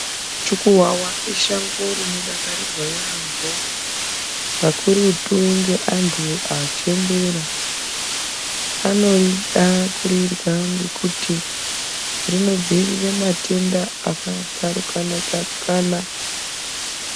Muchukuwawa ishango rinodakarirwa yambo kakurutu antu achembera anorida kurirya ngekuti rinodzivirira matenda akadzarukana dzarukana.